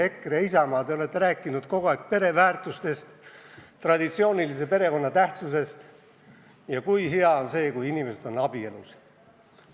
EKRE ja Isamaa, te olete kogu aeg rääkinud pereväärtustest, traditsioonilise perekonna tähtsusest ja kui hea on see, kui inimesed on abielus.